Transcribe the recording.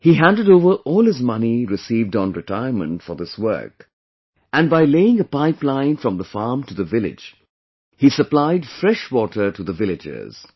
He handed over all his money received on retirement for this work and by laying a pipeline from the farm to the village; he supplied fresh water to the villagers